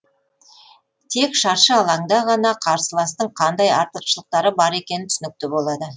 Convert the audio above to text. тек шаршы алаңда ғана қарсыластың қандай артықшылықтары бар екені түсінікті болады